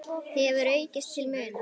hefur aukist til muna.